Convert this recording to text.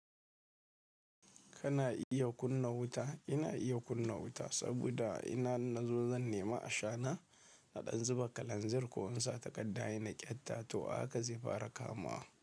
Kana iya kunna wuta? Ina iya kunna wuta saboda ina nazo zan nema ashana a ɗan zuba kalanzir ko in sa takadda inna ƙyatta to a haka zai fara kamuwa.